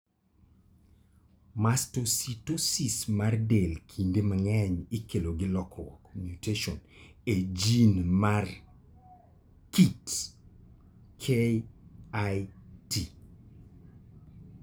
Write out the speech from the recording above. Mastocytosis mar del kinde mang'eny ikelo gi lokruok (mutations) e gene mar KIT.